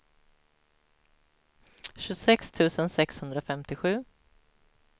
tjugosex tusen sexhundrafemtiosju